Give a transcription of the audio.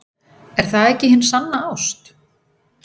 Er það ekki hin sanna ást?